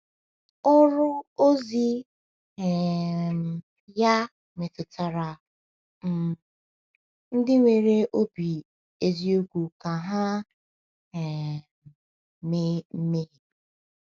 Ọrụ ozi um ya metụtara um ndị nwere obi eziokwu ka ha um mee mmehie.